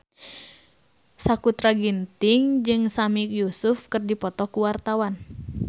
Sakutra Ginting jeung Sami Yusuf keur dipoto ku wartawan